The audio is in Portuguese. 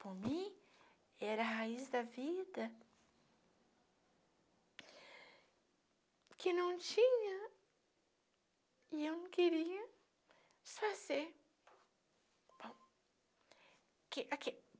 Para mim, era a raiz da vida que não tinha e eu não queria desfazer. Aqui aqui